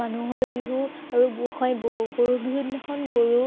মানুহৰ বিহু আৰু গোঁসাই বিহু। গৰু বিহুৰ দিনাখন গৰু